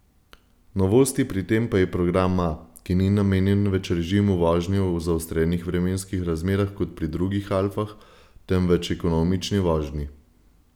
Novost pri tem pa je program A, ki ni namenjen več režimu vožnje v zaostrenih vremenskih razmerah kot pri drugih alfah, temveč ekonomični vožnji.